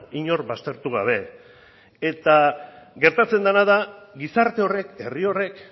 inor baztertu gabe eta gertatzen dena da gizarte horrek herri horrek